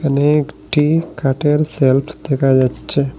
এখানে একটি কাঠের সেলফ দেখা যাচ্ছে।